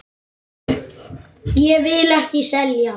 Ég vil ekki selja.